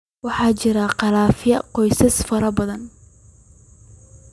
Waxaa jira khilaafya qoys oo faro badan.